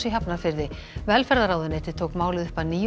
í Hafnarfirði velferðarráðuneytið tók málið upp að nýju